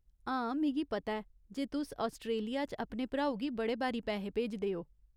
हां, मिगी पता ऐ जे तुस आस्ट्रेलिया च अपने भ्राऊ गी बड़े बारी पैहे भेजदे ओ।